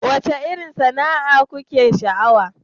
Wacce irin sana'a kuke sha'awa?